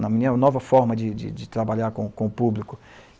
na minha nova forma de, de, de trabalhar com o público.